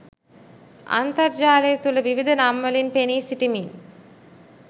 අන්තර්ජාලය තුළ විවිධ නම්වලින් පෙනී සිටිමින්